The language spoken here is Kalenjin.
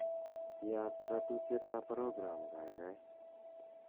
yaat ratutiet ab program kaigai